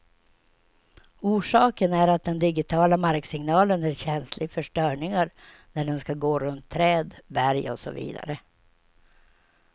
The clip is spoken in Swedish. Orsaken är att den digitiala marksignalen är känslig för störningar när den skall gå runt träd, berg och så vidare.